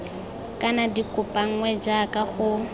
kana di kopanngwe jaaka go